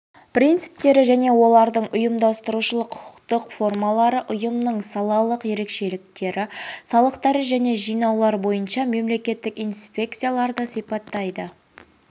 принциптері және олардың ұйымдастырушылық құқықтық формалары ұйымның салалық ерекшеліктері салықтар және жинаулар бойынша мемлекеттік инспекцияларды сипаттайды